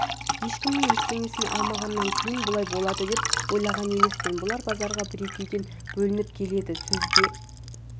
ешкімнің ештеңесін алмағаннан кейін бұлай болады деп ойлаған емеспін бұлар базарға екі-екеуден бөлініп келеді сөзге